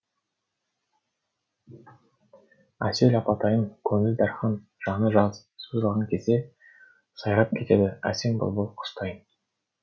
әсел апатайым көңілі дархан жаны жаз сөз алған кезде сайрап кетеді әсем бұлбұл құстайын